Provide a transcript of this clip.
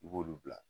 I b'olu bila